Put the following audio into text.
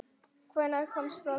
Hvenær kom fyrsta tölvan?